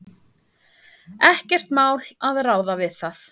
Ekkert mál að ráða við það.